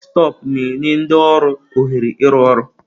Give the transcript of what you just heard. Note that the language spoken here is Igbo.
Deskịtọpụ na-enye ndị ọrụ ohere ịrụ ọrụ.